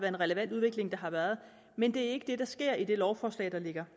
en relevant udvikling der har været men det er ikke det der sker i det lovforslag der ligger